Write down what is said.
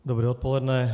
Dobré odpoledne.